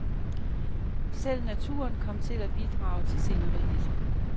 Selv naturen kom til at bidrage til sceneriet.